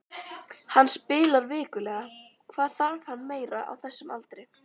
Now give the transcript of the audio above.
Hann spilar vikulega, hvað þarf hann meira á þessum aldri?